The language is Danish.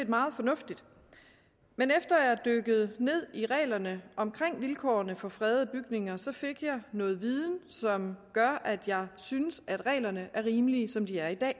meget fornuftigt men efter at jeg dykkede ned i reglerne om vilkårene for fredede bygninger fik jeg noget viden som gør at jeg synes at reglerne er rimelige som de er i dag